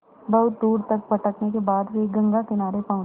बहुत दूर तक भटकने के बाद वे गंगा किनारे पहुँचे